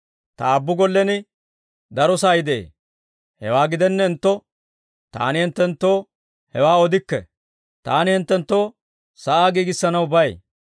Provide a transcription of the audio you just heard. Ta Aabbu gollen daro sa'ay de'ee. Hewaa gidennentto, Taani hinttenttoo hewaa odikke; Taani hinttenttoo sa'aa giigissanaw bay.